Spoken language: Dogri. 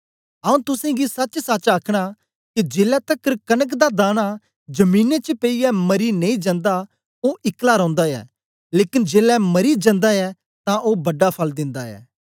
आऊँ तुसेंगी सचसच आखना के जेलै तकर कनक दा दाना जमीने च पेईयै मरी नेई जन्दा ओ इकला रौंदा ऐ लेकन जेलै मरी जन्दा ऐ तां ओ बडा फल दिंदा ऐ